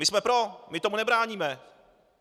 My jsme pro, my tomu nebráníme.